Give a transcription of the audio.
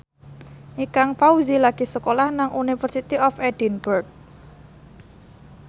Ikang Fawzi lagi sekolah nang University of Edinburgh